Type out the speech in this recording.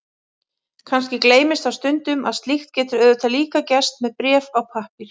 Kannski gleymist þá stundum að slíkt getur auðvitað líka gerst með bréf á pappír.